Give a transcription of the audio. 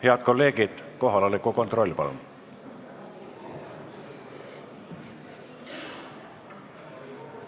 Head kolleegid, kohaloleku kontroll, palun!